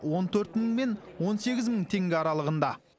он төрт мың мен он сегіз мың теңге аралығында